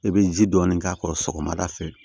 I bɛ ji dɔɔni k'a kɔrɔ sɔgɔmada fɛ